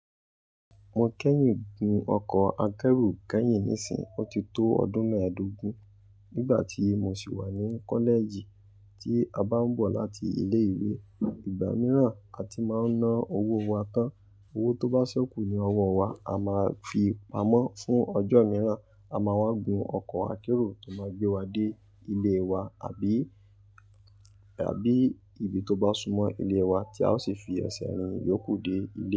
Mo kẹ́yìn gun ọkọ̀ akẹ́rù kẹ́yìn nísìn. Ó ti tó ọdún mẹ́ẹ̀dógún nígbà tí mo sì wà ní kọ́lẹ̀ẹ̀jì. Tí a bá ń bọ̀ láti ilé ìwé, ìgbà mìíràn a ti máa ń ná owó wa tán. Owó tó bá ṣekù ní ọwọ́ wa, a máa fi pamọ́ fún ọjọ́ mìíràn, a máa wá gun ọkọ̀ akẹ́rù tó máa gbé wa dé ilé wa àbí, àbí ibi tó bá súnmọ́ ilé wa tí a ó sì fi ẹsẹ̀ riń iyòókù dé ilé.